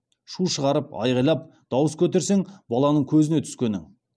шу шығарып айғайлап дауыс көтерсең баланың көзіне түскенің